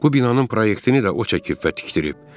Bu binanın proyektini də o çəkib və tikdirib.